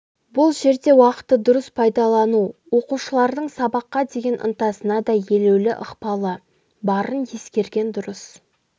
бұл жерде уақытты дұрыс пайдалану оқушылардың сабаққа деген ынтасына да елеулі ықпалы барын ескерген дұрыс